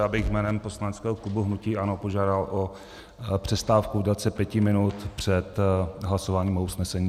Já bych jménem poslaneckého klubu hnutí ANO požádal o přestávku v délce pěti minut před hlasováním o usnesení.